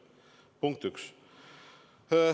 Punkt üks.